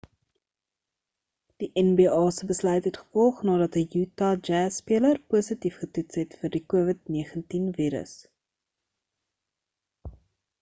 die nba se besluit het gevolg nadat 'n utah jazz speler positief getoets het vir die covid-19 virus